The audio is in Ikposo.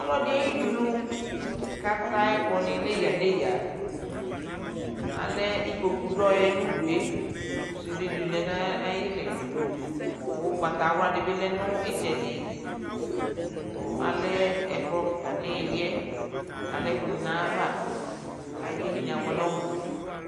Ɔlɔdi ayi'dunu k'atɛ ayɛ ku ni n'eyǝ n'eyǝ Alɛ ikpoku dɔ'ɛ n'udue ku sude di lɛ n'a ayi lɩ, ku ugbata wla di bi lɛ n'ay'itsɛdi, ku alɛ ɛkplɔ kika n'ɩli'ɛ, k'alɛku ni n'ava, 'ka k'edinie abuɛ n'ɔmu